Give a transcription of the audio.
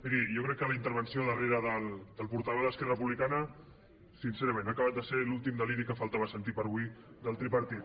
miri jo crec que la darrera intervenció del portaveu d’esquerra republicana sincerament ha acabat de ser l’últim deliri que faltava sentir per avui del tripartit